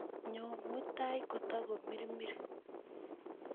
nyo mutai kotokotamirmir